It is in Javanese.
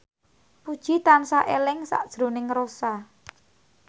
Puji tansah eling sakjroning Rossa